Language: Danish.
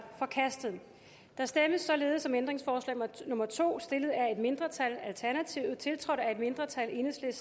forkastet der stemmes således om ændringsforslag nummer to stillet af et mindretal tiltrådt af et mindretal